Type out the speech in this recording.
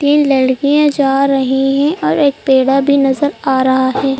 तीन लड़कियों जा रही है और एक पेड़ा भी नजर आ रहा है।